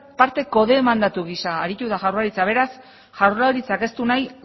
parte kodemandatu gisa aritu da jaurlaritza beraz jaurlaritzak ez du nahi